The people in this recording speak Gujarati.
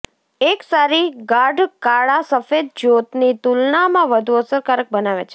એક સારી ગાઢ કાળા સફેદ જ્યોતની તુલનામાં વધુ અસરકારક બનાવે છે